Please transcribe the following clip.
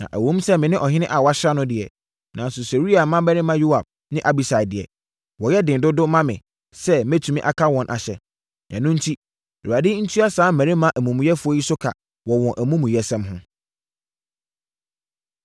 Na ɛwom sɛ me ne ɔhene a wɔasra no deɛ, nanso Seruia mmammarima Yoab ne Abisai deɛ, wɔyɛ den dodo ma me sɛ mɛtumi aka wɔn ahyɛ. Ɛno enti, Awurade ntua saa mmarima amumuyɛfoɔ yi so ka wɔ wɔn amumuyɛsɛm ho.”